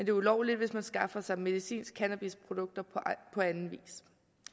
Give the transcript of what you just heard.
er ulovligt hvis man skaffer sig medicinske cannabisprodukter på anden vis